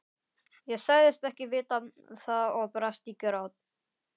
Ég sagðist ekki vita það og brast í grát.